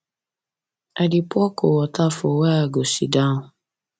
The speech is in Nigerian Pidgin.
i dey pour cold water for where i go sit down